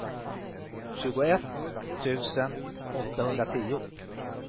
tjugoett tusen åttahundratio